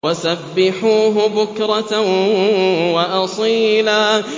وَسَبِّحُوهُ بُكْرَةً وَأَصِيلًا